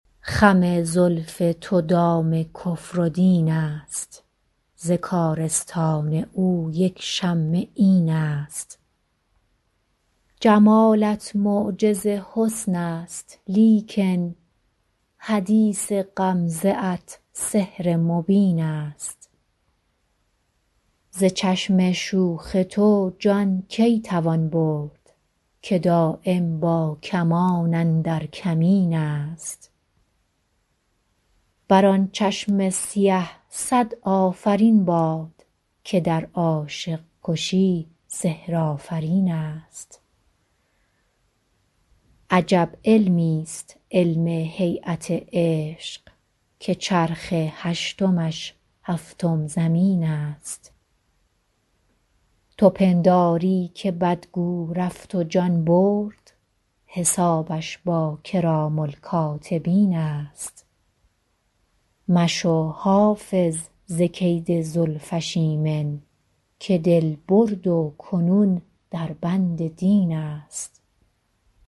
خم زلف تو دام کفر و دین است ز کارستان او یک شمه این است جمالت معجز حسن است لیکن حدیث غمزه ات سحر مبین است ز چشم شوخ تو جان کی توان برد که دایم با کمان اندر کمین است بر آن چشم سیه صد آفرین باد که در عاشق کشی سحرآفرین است عجب علمیست علم هییت عشق که چرخ هشتمش هفتم زمین است تو پنداری که بدگو رفت و جان برد حسابش با کرام الکاتبین است مشو حافظ ز کید زلفش ایمن که دل برد و کنون در بند دین است